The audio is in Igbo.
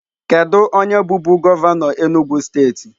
Kedu onye bụbu gọvanọ Enugwu steeti?